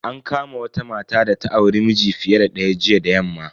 An kama wata mata data auri miji fiye da daya jiya da yamma.